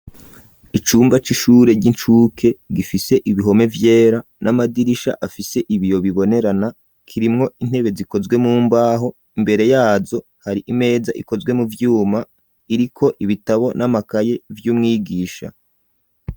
Icumba c'ishure ry'incuke gifise ibihome vyera n'amadirisha afise ibiyo bibonerana kirimwo intebe zikozwe mumbaho imbere yazo hari imeza ikozwe mu vyuma iriko ibitabo n'amakaye vy'umwigisha.